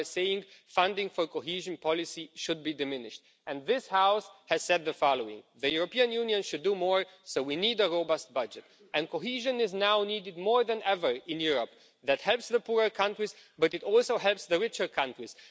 You are saying funding for cohesion policy should be diminished and this House has said the following The European Union should do more, so we need a robust budget'. Cohesion is now needed more than ever in Europe. It helps the poorer countries, but it also helps the richer countries